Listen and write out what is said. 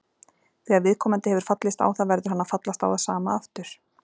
Þegar viðkomandi hefur fallist á það verður hann að fallast á það sama aftur.